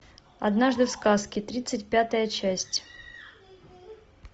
однажды в сказке тридцать пятая часть